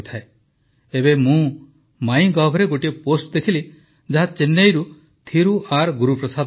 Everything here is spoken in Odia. ଏବେ ମୁଁ ମାଇଁ ଗଭରେ ଗୋଟିଏ ପୋଷ୍ଟ୍ ଦେଖିଲି ଯାହା ଚେନ୍ନଇର ଥିରୁ ଆର୍ ଗୁରୁପ୍ରସାଦ ଲେଖିଛନ୍ତି